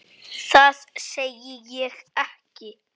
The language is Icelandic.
Það segi ég ekki.